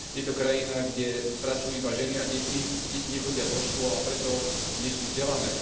Je to krajina, kde pracujú iba ženy a deti, deti nechodia do škôl, a preto nie sú vzdelané.